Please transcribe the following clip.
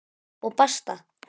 Og basta!